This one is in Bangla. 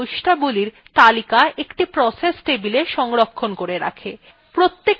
kernel এই বৈশিষ্ট্যাবলীর তালিকা একটি process table সংরক্ষণ করে রাখে